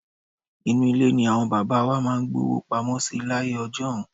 Inú ilé ni àwọn bàbá wa máa ń gbówó pamọ́ sí láyé ọjọ́un.